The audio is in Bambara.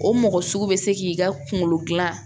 O mɔgɔ sugu bɛ se k'i ka kunkolo gilan